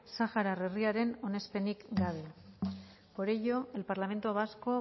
sahara herriaren onespenik gabe por ello el parlamento vasco